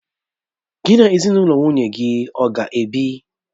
Gị na ezinụlọ nwunye gị ọ ga-ebi?